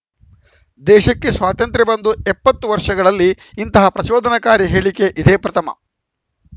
ದೇಶಕ್ಕೆ ಸ್ವಾತಂತ್ರ್ಯ ಬಂದು ಎಪ್ಪತ್ತು ವರ್ಷಗಳಲ್ಲಿ ಇಂತಹ ಪ್ರಚೋದನಾಕಾರಿ ಹೇಳಿಕೆ ಇದೇ ಪ್ರಥಮ